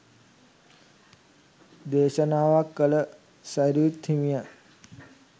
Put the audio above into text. දේශනාවක් කල සැරියුත් හිමියන්